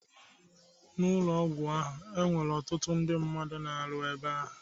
N'ụlọ ọgwụ ahụ, e nwere ọtụtụ ndị na-arụ ebe ahụ.